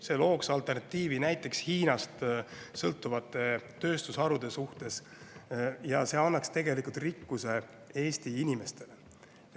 See looks alternatiivi näiteks Hiinast sõltuvatele tööstusharudele ja see annaks tegelikult rikkuse Eesti inimestele.